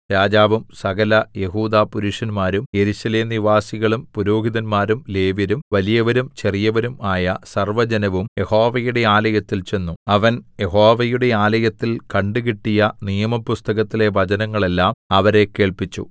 രാജാവും സകലയെഹൂദാ പുരുഷന്മാരും യെരൂശലേം നിവാസികളും പുരോഹിതന്മാരും ലേവ്യരും വലിയവരും ചെറിയവരും ആയ സർവ്വജനവും യഹോവയുടെ ആലയത്തിൽ ചെന്നു അവൻ യഹോവയുടെ ആലയത്തിൽ കണ്ടുകിട്ടിയ നിയമപുസ്തകത്തിലെ വചനങ്ങളെല്ലാം അവരെ കേൾപ്പിച്ചു